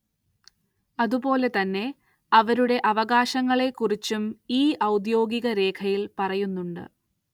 അതുപോലെ തന്നെ അവരുടെ അവകാശങ്ങളെക്കുറിച്ചും ഈ ഔദ്യോഗിക രേഖയിൽ പറയുന്നുണ്ട്.